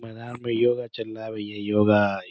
मैदान में योगा चल रहा है भैया। योगा --